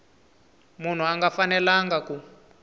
munhu a nga fanelanga ku